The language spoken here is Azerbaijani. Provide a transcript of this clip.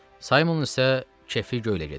Saymonun isə kefi göylə gedirdi.